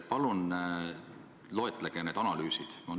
Palun loetlege need analüüsid!